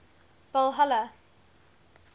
valhalla